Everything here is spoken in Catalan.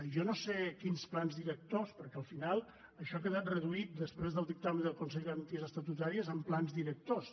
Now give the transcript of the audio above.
jo no sé quins plans directors perquè al final això ha quedat reduït després del dictamen del consell de garanties estatutàries en plans directors